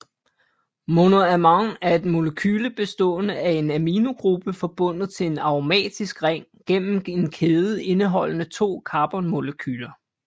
Monoamin er et molekyle bestående af en aminogruppe forbundet til en aromatisk ring gennem en kæde indeholdende to karbonmolekyler